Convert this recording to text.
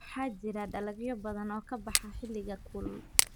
Waxaa jira dalagyo badan oo ka baxa xilliga kulul.